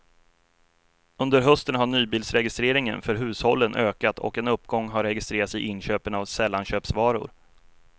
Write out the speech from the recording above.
Under hösten har nybilsregistreringen för hushållen ökat och en uppgång har registrerats i inköpen av sällanköpsvaror.